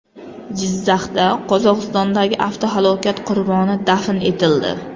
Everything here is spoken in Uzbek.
Jizzaxda Qozog‘istondagi avtohalokat qurboni dafn etildi.